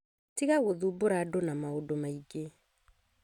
Tiga gũthumbũra andũ na maũndũ maingi.